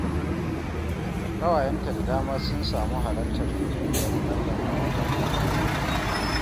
Ƙawayenta da dama sun samu halartar bikin ɗiyar Maryam a watan Fabrairu